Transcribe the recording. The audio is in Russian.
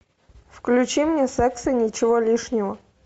включи мне секс и ничего лишнего